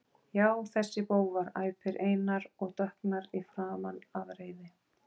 Já, þessir bófar, æpir Einar og dökknar í framan af reiði.